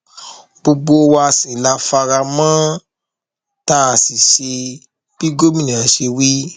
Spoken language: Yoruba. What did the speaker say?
gbogbo wa la sì fara mọ ọn tá a sì ṣe bí gómìnà ṣe wí